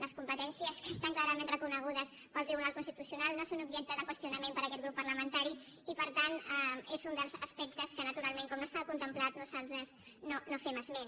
les competències que estan clarament reconegudes pel tribunal constitucional no són objecte de qüestionament per aquest grup parlamentari i per tant és un dels aspectes de què naturalment com no està contemplat nosaltres no fem esment